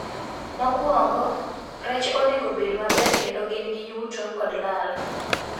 Mokwongo rech onego bed maber kendo gin gi yuto kod lal